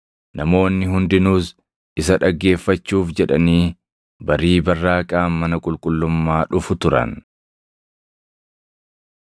Namoonni hundinuus isa dhaggeeffachuuf jedhanii barii barraaqaan mana qulqullummaa dhufu turan.